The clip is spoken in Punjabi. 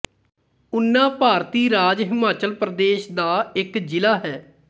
ਉਨਾ ਭਾਰਤੀ ਰਾਜ ਹਿਮਾਚਲ ਪ੍ਰਦੇਸ਼ ਦਾ ਇੱਕ ਜ਼ਿਲਾ ਹੈ